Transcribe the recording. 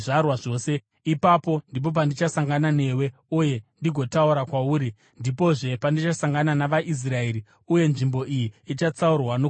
Ipapo ndipo pandichasangana newe uye ndigotaura kwauri, ndipozve pandichasangana navaIsraeri, uye nzvimbo iyi ichatsaurwa nokubwinya kwangu.